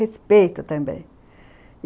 Respeito também.